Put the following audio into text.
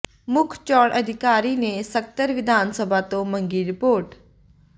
ਮੁੱਖ ਚੋਣ ਅਧਿਕਾਰੀ ਨੇ ਸਕੱਤਰ ਵਿਧਾਨ ਸਭਾ ਤੋਂ ਮੰਗੀ ਰਿਪੋਰਟ